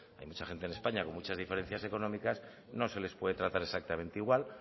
hay mucha gente en españa con muchas diferencias económicas no se les puede tratar exactamente igual